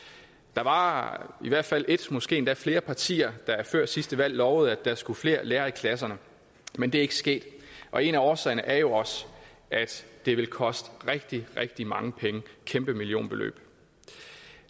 der var i hvert fald ét måske endda flere partier der før sidste valg lovede at der skulle flere lærere i klasserne men det er ikke sket og en af årsagerne er jo at det vil koste rigtig rigtig mange penge et kæmpe millionbeløb